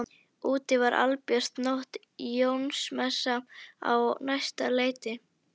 Úti var albjört nótt, Jónsmessa á næsta leiti.